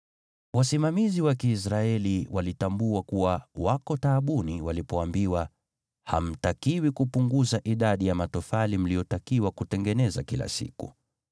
Wasimamizi wa Kiisraeli walitambua kuwa wako taabani walipoambiwa, “Hamtakiwi kupunguza idadi ya matofali mliotakiwa kutengeneza kila siku.”